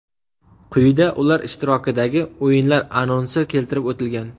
Quyida ular ishtirokidagi o‘yinlar anonsi keltirib o‘tilgan.